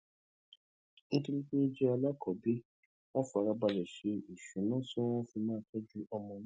nítorí pé ó jẹ alákọọbí wón fara balè ṣe ìṣúnà tí wón fi máa tójú ọmọ náà